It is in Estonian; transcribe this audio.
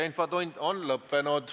Infotund on lõppenud.